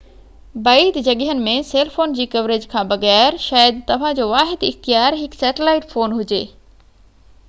بعيد جڳهين ۾ cell phone جي ڪوريج کان بغير شايد توهان جو واحد اختيار هڪ سيٽلائيٽ فون هجي